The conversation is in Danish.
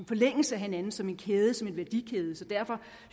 forlængelse af hinanden som en kæde som en værdikæde så derfor